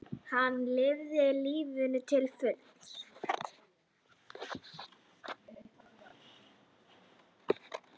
Hann lifði lífinu til fulls.